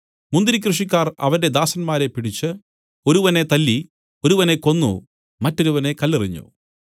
മുന്തിരി കൃഷിക്കാർ അവന്റെ ദാസന്മാരെ പിടിച്ച് ഒരുവനെ തല്ലി ഒരുവനെ കൊന്നു മറ്റൊരുവനെ കല്ലെറിഞ്ഞു